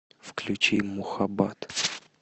включи мухаббат